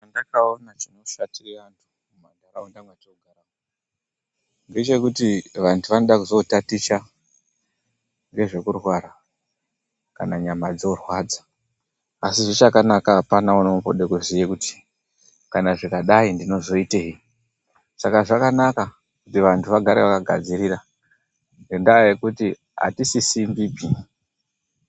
Chandaka ona chino shatire antu mu mandaraunda matino gara ngechekuti vantu vanoda kuzo taticha ngezveku rwara kana nyama dzo rwadza asi zvichaka naka apana unombode ku ziye kuti kana ndikadai ndinozo itei saka zvakanaka kuti vantu vagare vaka gadzirira ngenda yekuti ati sisirwi.